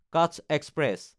কাচ এক্সপ্ৰেছ